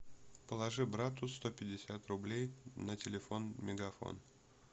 положи брату сто пятьдесят рублей на телефон мегафон